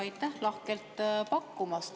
Aitäh lahkelt pakkumast!